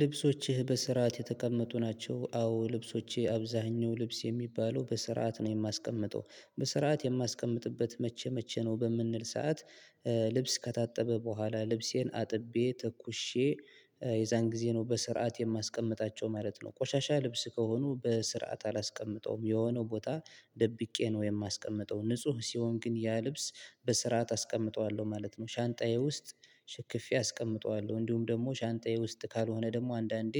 ልብሶችህ በስርዓት የተቀመጡ ናቸው። አዎ ልብሶችህ አብዛኛው ልብስ የሚባለው በስርዓት ነው የማስቀምጠው በስርዓት የማስቀምጥበት መቼ መቼ ነው በምንል ሰዓት? ልብስ ከታጠበ በኋላ ልብሴን አጥቤ ተኩሼ የዛን ጊዜ ነው በስርዓት የማስቀምጣቸው ማለት ነው። ቆሻሻ ልብስ ከሆኑ በስርዓት አላስቀምጠውም የሆነው ቦታ ደብቄ ነው የማስቀምጠው ንጹህ ሲሆን ግን ያ ልብስ በስርዓት አስቀምጠዋለሁ ማለት ነው። ሻንጣዬ ውስጥ ሽክፌ አስቀምጠዋለሁ እንዲሁም ደግሞ ሻንጣዬ ውስጥ ካልሆነ ደግሞ አንዳንዴ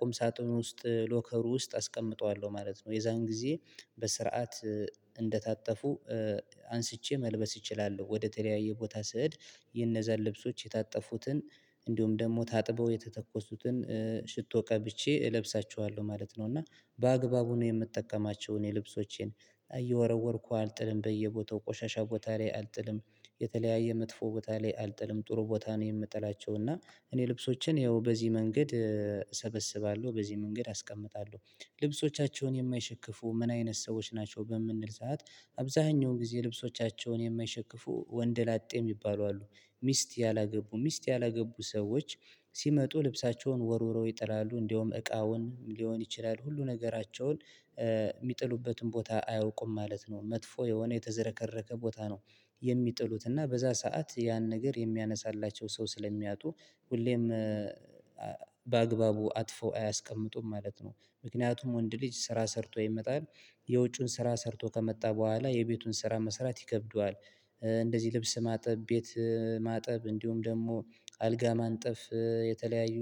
ቁም ሳጥን ውስጥ ሎከር ውስጥ አስቀምጠዋለሁ ማለት ነው። የዛን ጊዜ በስርዓት እንደታጠፉ አንስቼ መልበስ እችላለሁ። ወደ ተለያየ ቦታ ስሄድ የነዛን ልብሶች የታጠፉትን እንዲሁም ደግሞ ታጥበው የተተኮሱትን ሽቶ ቀብቼ እለብሳቸዋለሁ ማለት ነው። እና በአግባቡ ነው የምጠቀማቸውን የልብሶቼን እየወረወርኩ አልጥልም በየቦታው ቆሻሻ ቦታ ላይ አልጥልም። የተለያየ መጥፎ ቦታ ላይ አልጥልም ጥሩ ቦታ ነው የምጥላቸው እና እኔ ልብሶችን ያው በዚህ መንገድ እሰበስባለሁ በዚህ መንገድ አስቀምጣለሁ። ልብሶቻቸውን የማይሸክፉ ምን አይነት ሰዎች ናቸው በምንል ሰዓት አብዛኛው ጊዜ ልብሶቻቸውን የማይሸክፉ ወንድ ላጤ የሚባሉ አሉ። ሚስት ያላገቡ ሚስት ያላገቡ ሰዎች ሲመጡ ልብሳቸውን ወርውረው ይጥላሉ እንደውም እቃውን ሊሆን ይችላል ሁሉ ነገራቸውን የሚጥሉበትን ቦታ አያውቁም ማለት ነው። መጥፎ የሆነ የተዘረከረከ ቦታ ነው የሚጥሉት እና በዛ ሰዓት ያን ነገር የሚያነሳላቸው ሰው ስለሚያጡ ሁሌም በአግባቡ አጥፎ አያስቀምጡም ማለት ነው። ምክንያቱም ወንድ ልጅ ስራ ሰርቶ ይመጣል የውጩን ስራ ሰርቶ ከመጣ በኋላ የቤቱን ስራ መሰራት ይከብደዋል። እንደዚህ ልብስ ማጠብ ቤት ማጠብ እንዲሁም ደግሞ አልጋ ማንጠፍ የተለያዩ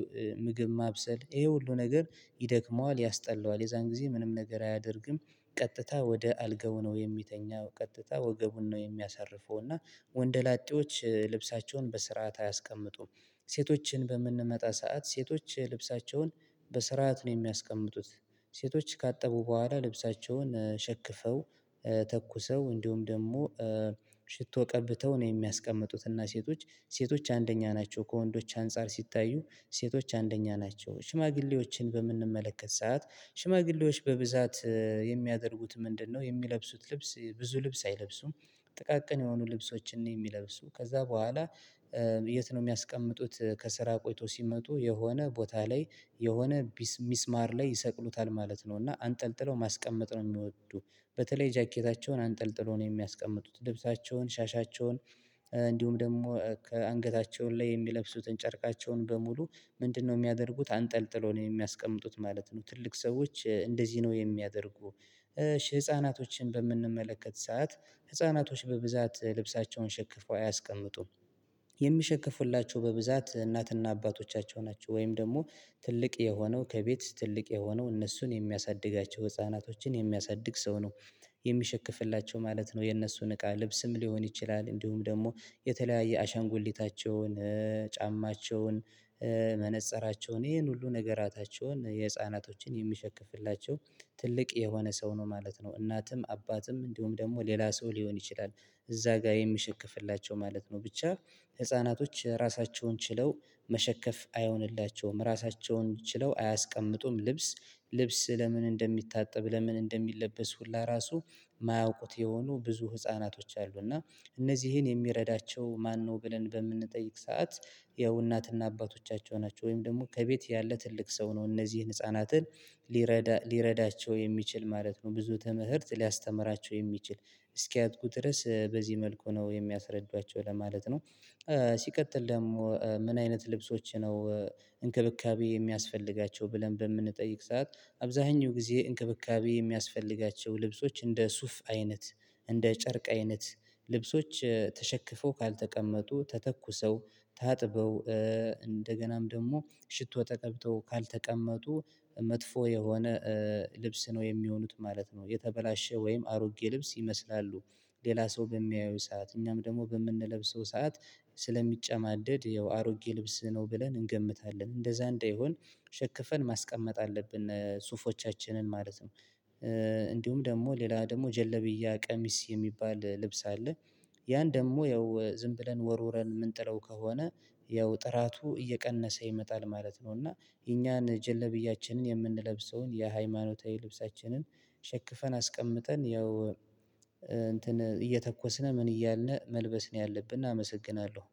ምግብ ማብሰል ይሄ ሁሉ ነገር ይደክመዋል ያስጠላዋል የዛን ጊዜ ምንም ነገር አያደርግም። ቀጥታ ወደ አልጋው ነው የሚተኛው ቀጥታ ወገቡን ነው የሚያሳርፈው እና ወንደላጤዎች ልብሳቸውን በስርዓት አያስቀምጡም። ሴቶችን በምንመጣ ሰዓት ሴቶች ልብሳቸውን በስርዓት ነው የሚያስቀምጡት። ሴቶች ካጠቡ በኋላ ልብሳቸውን ሸክፈው ተኩሰው እንዲሁም ደግሞ ሽቶ ቀብተው ነው የሚያስቀምጡት። እና ሴቶች ሴቶች አንደኛ ናቸው ከወንዶች አንፃር ሲታዩ ሴቶች አንደኛ ናቸው ሽማግሌዎችን በምንመለከት ሰዓት ሽማግሌዎች በብዛት የሚያደርጉት ምንድነው የሚለብሱት ልብስ ብዙ ልብስ አይለብሱም። ጥቃቅን የሆኑ ልብሶችን ነው የሚለብሱ ከዛ በኋላ የት ነው የሚያስቀምጡት? ከስራ ቆይቶ ሲመጡ የሆነ ቦታ ላይ የሆነ ሚስማር ላይ ይሰቅሉታል ማለት ነው እና አንጠልጥለው ማስቀመጥ ነው የሚወዱ በተለይ ጃኬታቸውን አንጠልጥሎ ነው የሚያስቀምጡት ልብሳቸውን ሻሻቸውን እንዲሁም ደግሞ ከአንገታቸው ላይ የሚለብሱትን ጨርቃቸውን በሙሉ ምንድነው የሚያደርጉት አንጠልጥሎ ነው የሚያስቀምጡት ማለት ነው። ትልቅ ሰዎች እንደዚህ ነው የሚያደርጉ። ህፃናቶችን በምንመለከት ሰዓት ህፃናቶች በብዛት ልብሳቸውን ሸክፈው አያስቀምጡም። የሚሸክፉላቸው በብዛት እናትና አባቶቻቸው ናቸው ወይም ደግሞ ትልቅ የሆነው ከቤት ትልቅ የሆነው እነሱን የሚያሳድጋቸው ህፃናቶችን የሚያሳድግ ሰው ነው የሚሸክፍላቸው ማለት ነው። የእነሱን እቃ ልብስም ሊሆን ይችላል እንዲሁም ደግሞ የተለያየ አሻንጉሊታቸውን ጫማቸውን መነፀራቸውን ይሄን ሁሉ ነገራታቸውን የህፃናቶችን የሚሸክፍላቸው ትልቅ የሆነ ሰው ነው ማለት ነው። እናትም አባትም እንዲሁም ደግሞ ሌላ ሰው ሊሆን ይችላል እዛ ጋር የሚሸከፍላቸው ማለት ነው። ብቻ ህፃናቶች ራሳቸውን ችለው መሸከፍ አይሆንላቸውም ራሳቸውን ችለው አያስቀምጡም። ልብስ ልብስ ለምን እንደሚታጠብ ለምን እንደሚለበስ ሁላ ራሱ የማያውቁት የሆኑ ብዙ ህፃናቶች አሉ። እና እነዚህን የሚረዳቸው ማነው ብለን በምንጠይቅ ሰዓት ያው እናትና አባቶቻቸው ናቸው ወይም ደግሞ ከቤት ያለ ትልቅ ሰው ነው እነዚህን ህፃናትን ሊረዳ ሊረዳቸው የሚችል ማለት ነው። ብዙ ተምህርት ሊያስተምራቸው የሚችል እስኪያድጉ ድረስ በዚህ መልኩ ነው የሚያስረዷቸው ለማለት ነው። ሲቀጥል ደግሞ ምን አይነት ልብሶች ነው? እንክብካቤ የሚያስፈልጋቸው ብለን በምንጠይቅ ሰዓት አብዛኛው ጊዜ እንክብካቤ የሚያስፈልጋቸው ልብሶች እንደ ሱፍ አይነት እንደ ጨርቅ አይነት ልብሶች ተሸክፈው ካልተቀመጡ ተተኩሰው ታጥበው እንደገናም ደግሞ ሽቶ ተቀብተው ካልተቀመጡ መጥፎ የሆነ ልብስ ነው የሚሆኑት ማለት ነው። የተበላሸ ወይም አሮጌ ልብስ ይመስላሉ ሌላ ሰው በሚያዩት ሰዓት እኛም ደግሞ በምንለብሰው ሰዓት ስለሚጨማደድ ያው አሮጌ ልብስ ነው ብለን እንገምታለን እንደዛ እንዳይሆን ሸክፈን ማስቀመጥ አለብን። ሱፎቻችንን ማለት ነው እንዲሁም ደግሞ ሌላ ደግሞ ጀለብያ ቀሚስ የሚባል ልብስ አለ ያን ደግሞ ያው ዝም ብለን ወርውረን የምንጥለው ከሆነ ያው ጥራቱ እየቀነሰ ይመጣል ማለት ነው። እና የኛን ጀለብያችንን የምንለብሰውን የሃይማኖታዊ ልብሳችንን ሸክፈን አስቀምጠን ያው እንትን እየተኮስን ምን እያልን መልበስ ነው ያለብን አመሰግናለሁ